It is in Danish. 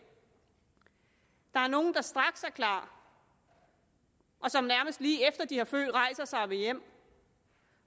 der er nogle der straks er klar og som nærmest lige efter de har født rejser sig og vil hjem